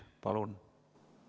Palun!